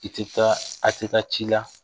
I tɛ taa a' tɛ taa ci la